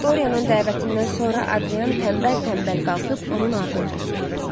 Dorianın dəvətindən sonra Adrian tənbəl-tənbəl qalxıb onun ardınca sürüd.